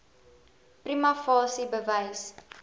prima facie bewys